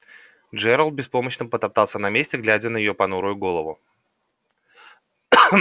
джералд беспомощно потоптался на месте глядя на её понурую голову